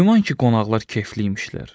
Güman ki, qonaqlar kefli imişlər.